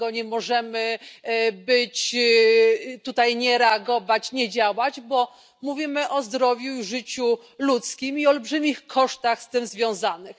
Dlatego nie możemy nie reagować, nie działać, bo mówimy o zdrowiu i życiu ludzkim, i olbrzymich kosztach z tym związanych.